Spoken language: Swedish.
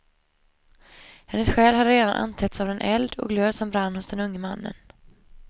Hennes själ hade redan antänts av den eld och glöd som brann hos denne unge man.